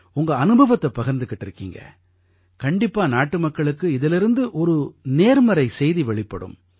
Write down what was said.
உங்க அனுபவத்தைப் பகிர்ந்துக்கிட்டிருக்கீங்க கண்டிப்பா நாட்டுமக்களுக்கு இதிலிருந்து ஒரு நேர்மறை செய்தி வெளிப்படும்